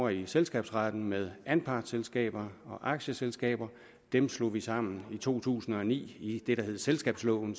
i selskabsretten med anpartsselskaber og aktieselskaber dem slog vi sammen i to tusind og ni i det der hedder selskabsloven